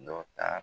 Dɔ ta